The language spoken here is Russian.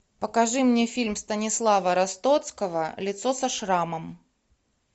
покажи мне фильм станислава ростоцкого лицо со шрамом